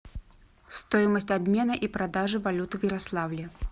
стоимость обмена и продажи валюты в ярославле